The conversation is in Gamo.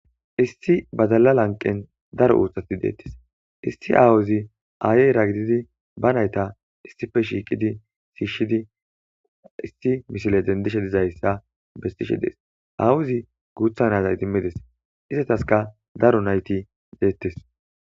Issi badalla lanqen daro uttathi dethess. Issi awwazi ayera gididi ba naytha issippe shiqidi shishishidi issi missile dendishe dizayssa besishshe dess. Awwazi guththa na'zza idmidess izzathaskka daro naythi dethes.